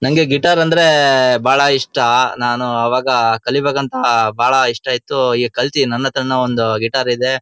ನಂಗೆ ಗಿಟಾರ್ ಅಂದ್ರೆ ಬಹಳ ಇಷ್ಟ ನಾನು ಅವಾಗ ಕಲಿಬೇಕು ಅಂತ ಆ ಬಹಳ ಇಷ್ಟ ಇತ್ತು ಈಗ್ ನನ್ ಹತ್ರ ನು ಒಂದು ಗಿಟಾರ್ ಇದೆ.